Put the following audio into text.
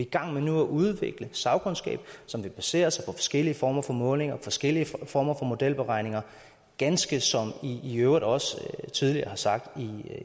gang med at udvikle en sagkundskab som vil basere sig på forskellige former for målinger og forskellige former for modelberegninger ganske som i i øvrigt også tidligere har sagt